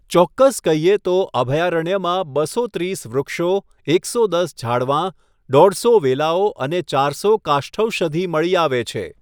ચોક્કસ કહીએ તો, અભયારણ્યમાં બસો ત્રીસ વૃક્ષો, એકસો દસ ઝાડવાં, દોઢસો વેલાઓ અને ચારસો કાષ્ઠૌષધિ મળી આવે છે.